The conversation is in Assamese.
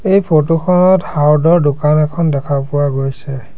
এই ফটো খনত হাৰ্ডৰ দোকান এখন দেখা পোৱা গৈছে।